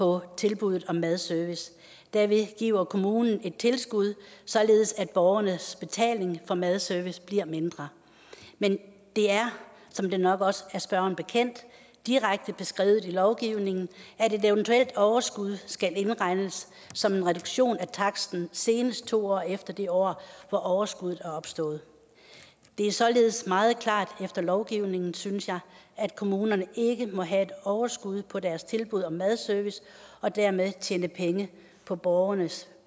på tilbuddet om madservice derved giver kommunen et tilskud således at borgernes betaling for madservice bliver mindre men det er som det nok også er spørgeren bekendt direkte beskrevet i lovgivningen at et eventuelt overskud skal indregnes som en reduktion af taksten senest to år efter det år hvor overskuddet er opstået det er således meget klart efter lovgivningen synes jeg at kommunerne ikke må have et overskud på deres tilbud om madservice og dermed tjene penge på borgernes